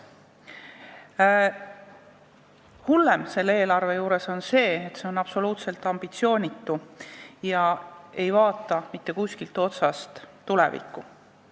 Kõige hullem selle eelarve juures on aga see, et see on absoluutselt ambitsioonitu ega vaata mitte kuskilt otsast tulevikku.